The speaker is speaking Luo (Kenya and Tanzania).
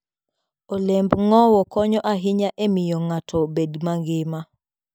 Olemb ng'owo konyo ahinya e miyo ng'ato obed mangima.